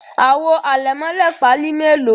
Àwo àlẹ̀mọ́lẹ̀ Pali melo?